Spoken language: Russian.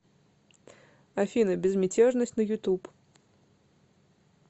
афина безмятежность на ютуб